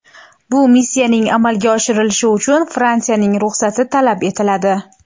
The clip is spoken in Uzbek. Bu missiyaning amalga oshirilishi uchun Fransiyaning ruxsati talab etiladi.